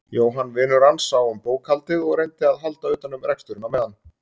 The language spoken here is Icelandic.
Jóhann vinur hans sá um bókhaldið og reyndi að halda utan um reksturinn á meðan.